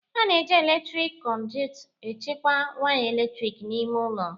A na-eji eletrik kọduịt echekwa waya eletrik n'ime ụlọ